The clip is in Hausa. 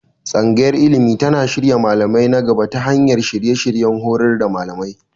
Tsangayar Ilimi tana shirya malamai na gaba ta hanyar shirye-shiryen horar da malamai.